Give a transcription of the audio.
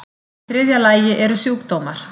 Í þriðja lagi eru sjúkdómar.